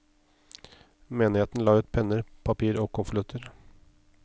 Menigheten la ut penner, papir og konvolutter.